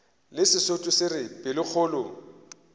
le sesotho se re pelokgolo